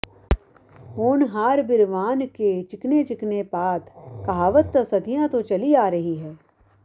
ਹੋਣਹਾਰ ਬ੍ਰਿਹਵਾਨ ਕੇ ਚਿਕਨੇ ਚਿਕਨੇ ਪਾਤ ਕਹਾਵਤ ਤਾਂ ਸਦੀਆਂ ਤੋਂ ਚੱਲੀ ਆ ਰਹੀ ਹੈ